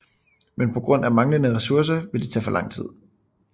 Men på grund af manglende resourcer vil det tage for lang tid